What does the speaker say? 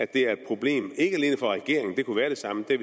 det er et problem ikke alene for regeringen det kunne være det samme det